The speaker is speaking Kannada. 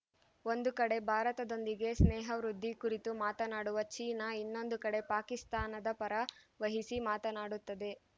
ಒಂದು ಕಡೆ ಭಾರತದೊಂದಿಗೆ ಸ್ನೇಹವೃದ್ಧಿ ಕುರಿತು ಮಾತನಾಡುವ ಚೀನಾ ಇನ್ನೊಂದು ಕಡೆ ಪಾಕಿಸ್ತಾನದ ಪರ ವಹಿಸಿ ಮಾತನಾಡುತ್ತದೆ